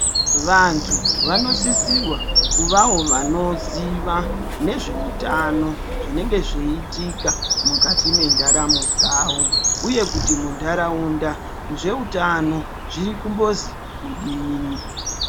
Vantu vanosisirwa kuvawo vanoziva nezveutano zvinenge zveitika mukati mendaramo dzavo uye kuti mundaraunda zvehutano zviri kumbozi kudini.